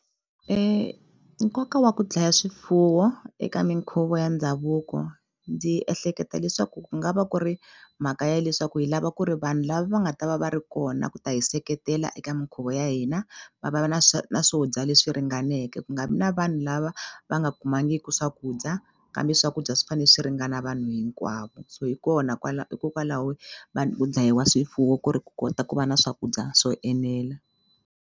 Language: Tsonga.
Nkoka wa ku dlaya swifuwo eka minkhuvo ya ndhavuko ndzi ehleketa leswaku ku nga va ku ri mhaka ya leswaku hi lava ku ri vanhu lava va nga ta va va ri kona ku ta hi seketela eka minkhuvo ya hina va va na na swo dya leswi ringaneke ku nga vi na vanhu lava va nga kumangiku swakudya kambe swakudya swi fane swi ringana vanhu hinkwavo so hi kona kwala hikokwalaho ku dlayiwa swifuwo ku ri ku kota ku va na swakudya swo enela.